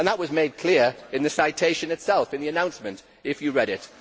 That was made clear in the citation itself in the announcement if you read